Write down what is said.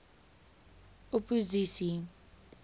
opposisie